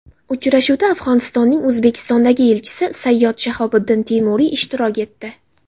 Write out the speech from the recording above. Uchrashuvda Afg‘onistonning O‘zbekistondagi elchisi Sayyod Shahobiddin Temuriy ishtirok etdi.